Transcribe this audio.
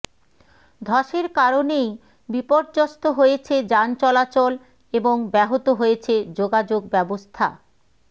ধসের কারণেই বিপর্যস্ত হয়েছে যান চলাচল এবং ব্যহত হয়েছে যোগাযোগ ব্যবস্থা